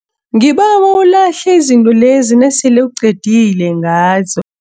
Ngibawa ulahle izinto lezi nasele uqedile ngazo.